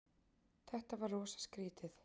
Þetta var rosa skrýtið.